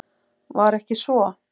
Var ekki svo?